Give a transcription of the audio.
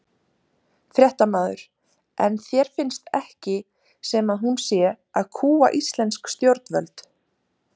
Fréttamaður: En þér finnst ekki sem að hún sé að kúga íslensk stjórnvöld?